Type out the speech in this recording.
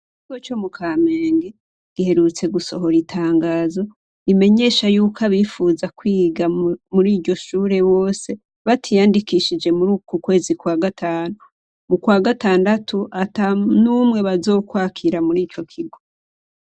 Iko co mu kamenge giherutse gusohora itangazo imenyesha yuko abifuza kwiga muri iryo shure wose batiyandikishije muri uku kwezi kwa gatanu mu kwa gatandatu ata n'umwe bazokwakira muri ico kigo.